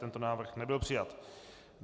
Tento návrh nebyl přijat.